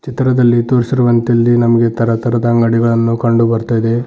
ಚಿತ್ರದಲ್ಲಿ ತೋರಿಸಿರುವಂತೆ ಇಲ್ಲಿ ನಮಗೆ ತರತರದ ಅಂಗಡಿಗಳನ್ನು ಕಂಡು ಬರ್ತಾ ಇದೆ.